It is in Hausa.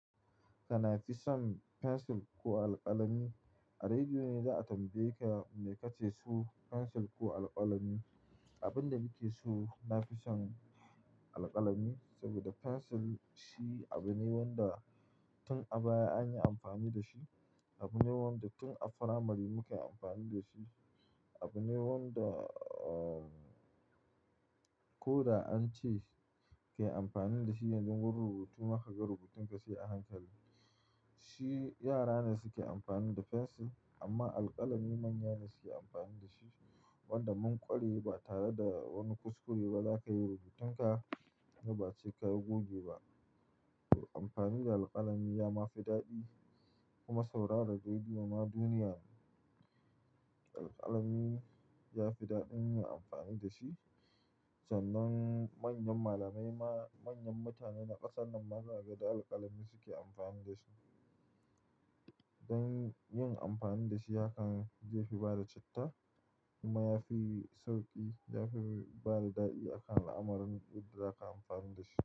Kana fison fensil ko alkalami? A rediyo ne za a tambaye ka me kake so fensil ko alkalami? Abin da muke so na fison alkalami saboda fensil shi abu ne wanda tun a baya an yi amfani da shi, abu ne wanda tun a firamari muke amfani da shi, abu ne wanda uh, ko da an ce kai amfani da shi yanzu wurin rubutu ma ka ga rubutun ka sai a hankali. Shi yara ne suke amfani da fensil amma alkalami manya ne suke amfani da shi wanda mun kware ba tare da wani kuskure ba za ka yi rubutun ka, ni ba ce ka yi goge ba. Amfani da alkalami ya ma fi daɗi kuma saurara rediyo ma duniya ne. Alkalami ya fi daɗin yin amfani da shi sannan manyan malamai ma manyan mutane na ƙasar nan ma za ka ga da alkalami suke amfani da su. Dan yin amfani da shi hakan zaifi bada citta kuma ya fi sauƙi, ya fi bada daɗi, akan alamarin yadda za ka yi amfani da shi.